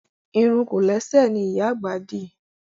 Irun kòlẹ́sẹ̀ ni ìyá àgbà dì